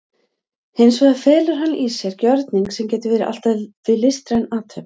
Hins vegar felur hann í sér gjörning sem getur verið allt að því listræn athöfn.